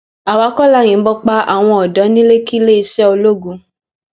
àwa kọ la yìnbọn pa àwọn ọdọ ní lekki iléeṣẹ ológun